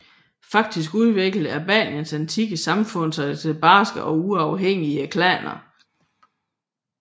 Faktisk udviklede Albaniens antikke samfund sig til barske og uafhængige klaner